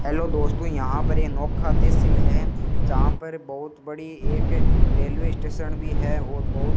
hello दोस्तों यहां पर ये नोका तहसील है जहां पर बहुत बड़ी एक रेलवे स्टेशन भी है और बहुत --